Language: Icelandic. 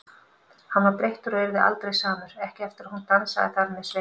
Hann var breyttur og yrði aldrei samur, ekki eftir að hún dansaði þar með Sveini.